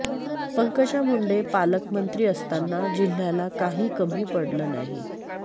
पंकजा मुंडे पालकमंत्री असताना जिल्ह्याला काही कमी पडलं नाही